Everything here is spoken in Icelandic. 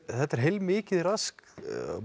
þetta er heilmikið rask